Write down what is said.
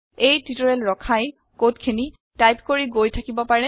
এই টিউটৰিয়েল ৰখাই কড খিনি টাইপ কৰি গৈ থাকিব পাৰে